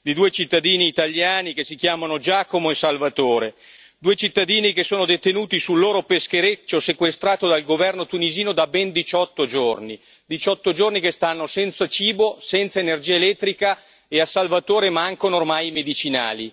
di due cittadini italiani che si chiamano Giacomo e Salvatore, due cittadini che sono detenuti sul loro peschereccio sequestrato dal governo tunisino da ben 18 giorni 18 giorni senza cibo, senza energia elettrica e a Salvatore mancano ormai i medicinali.